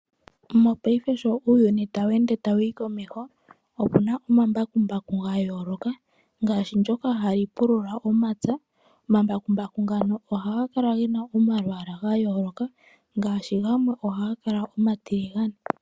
Mopaife sho uuyuni tawu ende ta wu yi komeho, opuna omambakumbaku ga yooloka ngaashi ngoka ha ga pulula omapya. Omambakumbaku ngano ohaga kala ge na omalwaala ga yooloka ngaashi gamwe ohaga kala omatiligane.